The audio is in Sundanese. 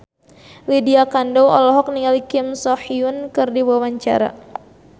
Lydia Kandou olohok ningali Kim So Hyun keur diwawancara